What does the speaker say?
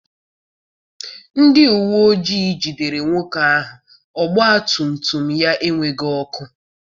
Ndị uwe ojii jidere nwoke ahụ ọgbatumtum ya enweghị ọkụ.